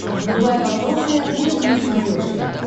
врубай вопросы и ответы на смотрешке